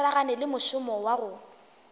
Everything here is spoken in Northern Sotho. swaragane le mošomo wa go